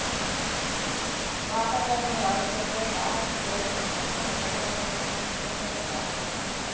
వాతా వరణ మార్పులపై భారత్ పోరుకు తామంతా అండగా ఉంటామని ఈ సందర్భంగా వారు ప్రకటించారు